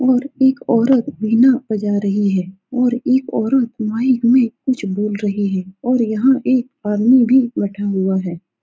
और एक औरत बीना बजा रही है और एक औरत माइक में कुछ बोल रही है और यहां एक आदमी भी बैठा हुआ है।